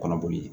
Kɔnɔ boli